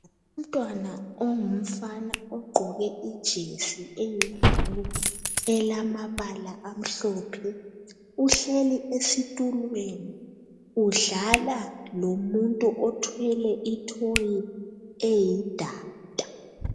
Umntwana ongumfana ugqoke ijesi eyiblue elamabala amhlophe uhlezi esitulweni udlala lomuntu othwele ithoyi eyidada.